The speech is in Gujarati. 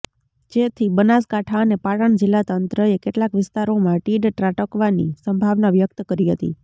જેથી બનાસકાંઠા અને પાટણ જિલ્લાતંત્રએ કેટલાક વિસ્તારોમાં તીડ ત્રાટકવાની સંભાવના વ્યક્ત કરી હતી